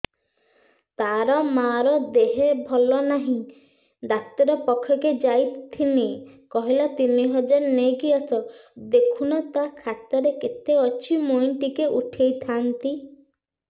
ତାର ମାର ଦେହେ ଭଲ ନାଇଁ ଡାକ୍ତର ପଖକେ ଯାଈଥିନି କହିଲା ତିନ ହଜାର ନେଇକି ଆସ ଦେଖୁନ ନା ଖାତାରେ କେତେ ଅଛି ମୁଇଁ ଟିକେ ଉଠେଇ ଥାଇତି